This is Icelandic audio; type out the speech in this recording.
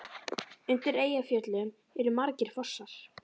Undir Eyjafjöllum eru margir fossar.